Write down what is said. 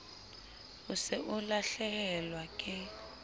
o se o lahlehelwa ke